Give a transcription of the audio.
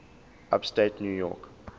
upstate new york